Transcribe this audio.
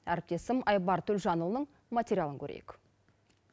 әріптесім айбар төлжанұлының материылын көрейк